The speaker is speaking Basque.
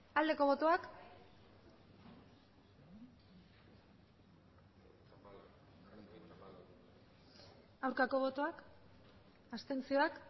aldeko botoak aurkako botoak abstentzioak